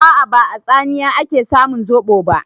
A'a, ba a tsamiya ake samun zoɓo ba.